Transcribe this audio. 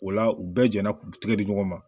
O la u bɛɛ jɛnna k'u tigɛ di ɲɔgɔn ma